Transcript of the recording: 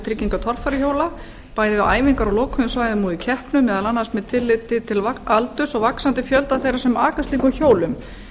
trygginga torfæruhjóla bæði við æfingar á lokuðum svæðum og í keppnum meðal annars með tilliti til aldurs og vaxandi fjölda þeirra sem aka slíkum hjólum